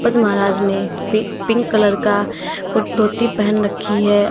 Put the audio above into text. महाराज ने पी pink colour का धोती पेहन रखी है।